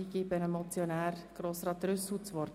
Ich erteile dem Motionär Grossrat Trüssel das Wort.